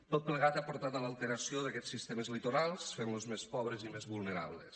tot plegat ha portat a l’alteració d’aquests sistemes litorals fent los més pobres i més vulnerables